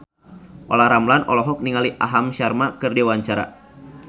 Olla Ramlan olohok ningali Aham Sharma keur diwawancara